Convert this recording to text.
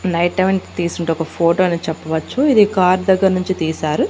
Night time తీసునటువంటి ఒక photo అని చెప్పవచ్చు ఇది కార్ దగ్గర నుండి తీశారు.